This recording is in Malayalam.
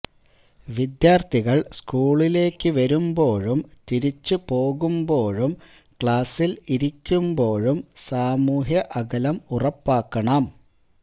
വിദ്യാർത്ഥികൾ സ്കൂളിലേക്ക് വരുമ്പോഴും തിരിച്ചു പോകുമ്പോഴും ക്ലാസിൽ ഇരിക്കുമ്പോഴും സാമൂഹ്യ അകലം ഉറപ്പാക്കണം